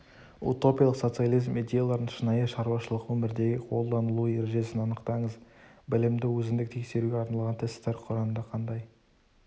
утопиялық социализм идеяларының шынайы шаруашылық өмірдегі қолданылу ережесін анықтаңыз білімді өзіндік тексеруге арналған тестер құранда қандай